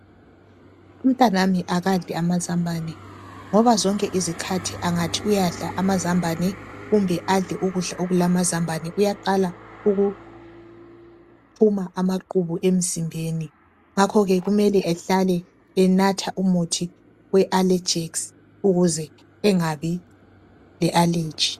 umntanami akadli amazambane ngoba zonke izikhathi angathi uyadla amazambane kumbe adle ukudla okulamaambane uyaqala ukuphuma amaqhubu emzimbeni ngako ke kumele ehlale enatha umuthi we allegerx ukuze engabi le allergy